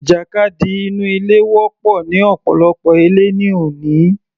Ìjàkadì inú ilé wọ́pọ̀ ní ọ̀pọ̀lọpọ̀ ilé ní òní